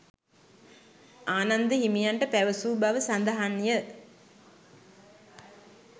ආනන්ද හිමියන්ට පැවසූ බව සඳහන් ය.